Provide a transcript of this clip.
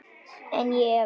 En ég efast.